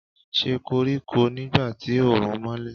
Ṣe koriko nigba ti oorun nmọlẹ